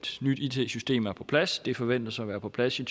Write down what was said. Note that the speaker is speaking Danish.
nyt it system er på plads det forventes at være på plads i